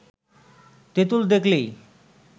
তেঁতুল দেখলেই